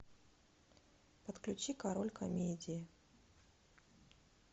подключи король комедии